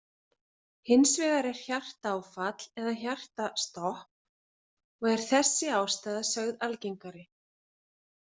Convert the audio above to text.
Hins vegar er hjartaáfall eða hjartastopp og er þessi ástæða sögð algengari.